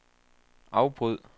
afbryd